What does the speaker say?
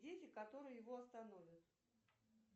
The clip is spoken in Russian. дети которые его остановят